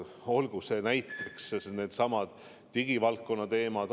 Olgu näiteks needsamad digivaldkonna teemad.